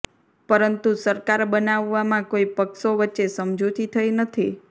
પરંતુ સરકાર બનાવવામાં કોઈ પક્ષો વચ્ચે સમજૂતી થઇ નથી